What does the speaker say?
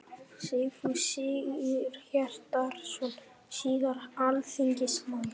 Sigfús Sigurhjartarson, síðar alþingismaður.